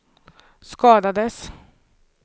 skadades